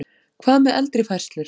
Hvað með eldri færslur?